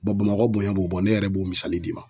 BAMAKƆ bonɲɛ b'o bɔ ne yɛrɛ b'o misali d'i ma.